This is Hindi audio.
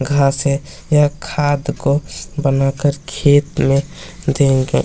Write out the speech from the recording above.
घास है यह खाद को बनाकर खेत में देंगे।